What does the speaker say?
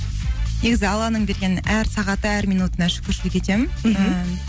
негізі алланың берген әр сағаты әр минутына шүкіршілік етемін